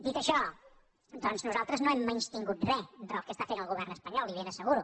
dit això doncs nosaltres no hem menystingut res del que està fent el govern espanyol li ho ben asseguro